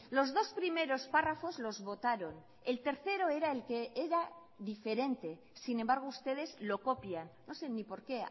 los dos primeros párrafos los votaron el tercero era el que era diferente sin embargo ustedes lo copian no sé ni por qué